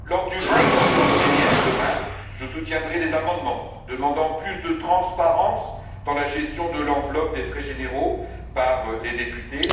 Lors du vote en séance plénière demain, je soutiendrai les amendements demandant plus de transparence dans la gestion de l'enveloppe des frais généraux par les députés.